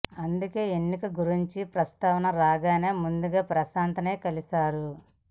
అందుకే ఎన్నికల గురించి ప్రస్తావన రాగానే ముందుగా ప్రశాంత్ నే కలిసాడు